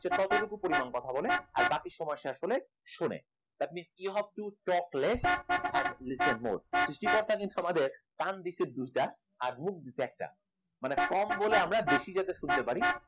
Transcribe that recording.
যে যতটুকু পরিমাণ কথা বলে আর বাকি সময় সে আসলে শোনে মানে you have to talkless and listen more কিন্তু সৃষ্টিকর্তা কিন্তু আমাদের কান দিয়েছে দুটো এবং মুখ দিয়েছে একটা মানে কম বলে আমরা বেশি যাতে শুনতে পারি